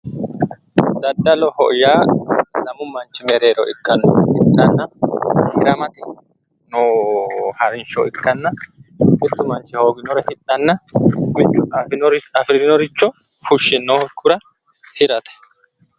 Daddalloho yaa lamu manchi mereero hidhanna hiramate harinsho ikkanna ,mitu manchi hooginore hidhanna ,mitu afirinoricho fushe hirate.